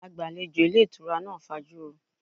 Agbalejo ilé ìtura náà fajuro.